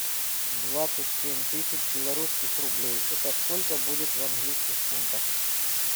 двадцать семь тысяч белорусских рублей это сколько будет в английских фунтах